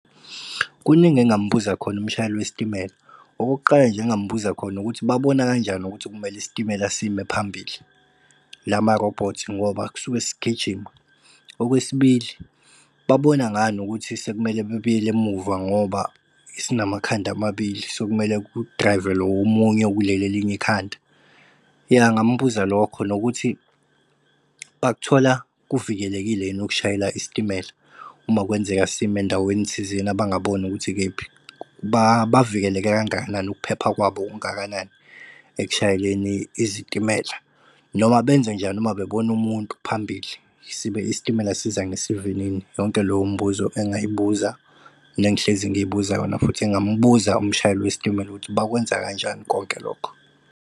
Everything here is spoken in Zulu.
Kuningi engingambuza khona umshayeli wesitimela, okokuqala nje engingambuza khona ukuthi babona kanjani ukuthi kumele isitimela sime phambili lama-robots ngoba kusuke sigijima? Okwesibili, babona ngani ukuthi sekumele bebuyele emuva ngoba sinamakhanda amabili sekumele kumele ku-drive-e lo omunye okuleli elinye ikhanda? Ya ngambuza lokho nokuthi bakuthola kuvikelekile yini ukushayela isitimela uma kwenzeka sima endaweni thizeni abangaboni ukuthi ikephi? Bavikeleke kangakanani, ukuphepha kwabo kungakanani ekushayeleni izitimela, noma benze njani uma bebona umuntu phambili sibe istimela siza ngesivinini? Yonke leyo mbuzo engay'buza nengihlezi ngiy'buza yona futhi engambuza umshayeli wesitimela ukuthi bakwenza kanjani konke lokho?